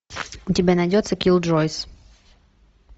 у тебя найдется киллджойс